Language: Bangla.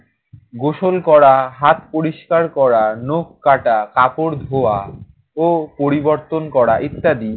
গোসল করা, হাত পরিষ্কার করা, নখ কাটা, কাপড় ধোয়া ও পরিবর্তন করা ইত্যাদি।